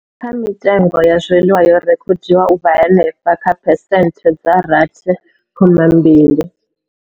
Kha mitengo ya zwiḽiwa yo rekhodiwa u vha henefha kha phesenthe dza rathi khoma mbili.